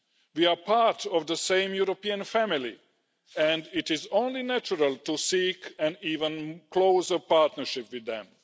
We are part of the same European family and it is only natural to seek an even closer partnership with them.